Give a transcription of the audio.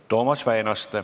Toomas Väinaste.